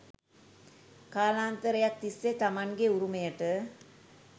කාලාන්තරයක් තිස්සේ තමන්ගේ උරුමයට